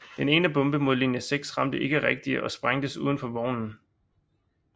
Den ene bombe mod linje 6 ramte ikke rigtigt og sprængtes uden for vognen